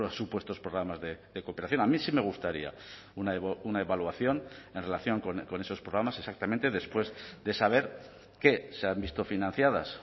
supuestos programas de cooperación a mí sí me gustaría una evaluación en relación con esos programas exactamente después de saber que se han visto financiadas